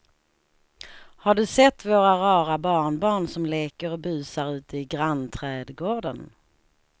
Har du sett våra rara barnbarn som leker och busar ute i grannträdgården!